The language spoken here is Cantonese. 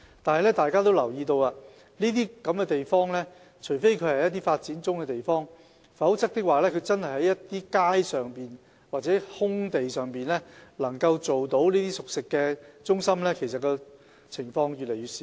相信大家都留意到，除非是發展中的地方，否則能夠在街道或空地上設立熟食中心的情況越來越少。